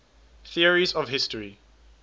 theories of history